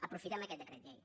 aprofitem aquest decret llei